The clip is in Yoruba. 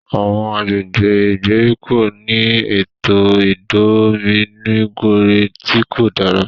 Awọn agbègbè ìgbèríko ni ètò idominugere ti kò dára